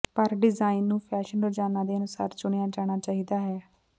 ਪਰ ਡਿਜ਼ਾਇਨ ਨੂੰ ਫੈਸ਼ਨ ਰੁਝਾਨਾਂ ਦੇ ਅਨੁਸਾਰ ਚੁਣਿਆ ਜਾਣਾ ਚਾਹੀਦਾ ਹੈ